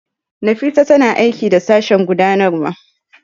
Nafisa tana aiki da Sashen Gudanarwa.